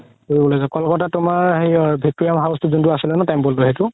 ফুৰিব লৈ যোৱা ক'লকাতাত তুমাৰ হেৰি ৱিকতৰিয়া যোনতো আছিলে ন temple টো সেইটো